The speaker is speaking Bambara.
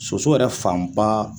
Soso yɛrɛ fanba